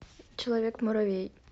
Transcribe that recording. человек муравей